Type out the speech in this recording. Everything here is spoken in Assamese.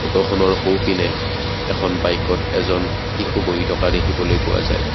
ফটোখনৰ সোঁপিনে এখন বাইকত এজন শিশু বহি থকা দেখিবলৈ পোৱা যায়।